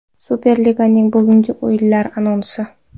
Superliganing bugungi o‘yinlari anonsi.